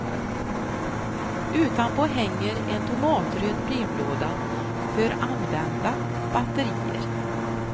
Utanpå hänger en tomatröd brevlåda för använda batterier.